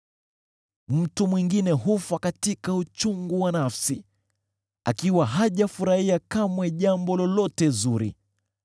Mtu mwingine hufa katika uchungu wa nafsi, akiwa hajafurahia kamwe jambo lolote zuri.